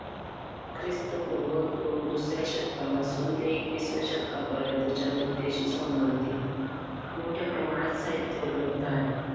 ख्रिस्त पूर्व दो~ दुसऱ्या शतकापासून ते एकविसाव्या शतकापर्यंतच्या लोकतेशी संबधित मोठ्या प्रमाणात साहित्य उपलब्ध आहे.